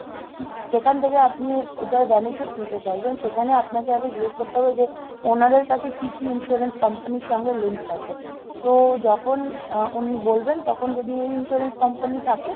যেখান থেকে আপনি এটার benefit নিতে চাইছেন সেখানে আপনাকে আগে জিজ্ঞেস করতে হবে যে ওনাদের কাছে কি কি insurance company র সঙ্গে link আছে তো যখন আহ উনি বলবেন তখন যদি এই insurance company থাকে,